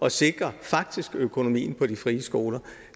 at sikre økonomien på de frie skoler